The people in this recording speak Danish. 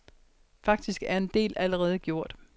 Faktisk er en del allerede gjort.